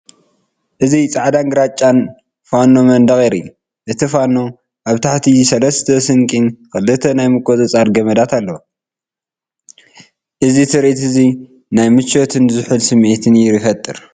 እዚ ጻዕዳን ግራጭን ፋኖ መንደቕ የርኢ። እቲ ፋን ኣብ ታሕቲ ሰለስተ ስንቂን ክልተ ናይ ምቁጽጻር ገመዳትን ኣለዎ። እዚ ትርኢት እዚ ናይ ምቾትን ዝሑልን ስምዒት ይፈጥር።